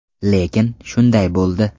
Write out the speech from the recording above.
Lekin shunday bo‘ldi.